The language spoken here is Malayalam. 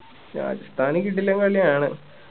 രാജസ്ഥാനും കിടിലൻ കളിയാണ്